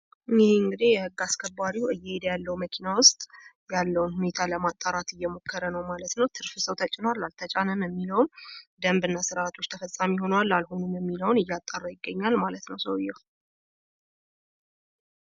ይሄ እንግዲህ የህግ አስከባሪው እየሄደ ያለው መኪና ውስጥ ያለውን ሁኔታ ለማጣራት እየሞከረ ነው ማለት ነው። ትርፍ ሰው ተጭኖአል? አልተጫነም? የሚለውን ፣ደንብና ስርአቶች ተፈፃሚ ሆነዋል? አልሆኑም? የሚለውን እያጣራ ይገኛል ማለት ነው ሰውየው።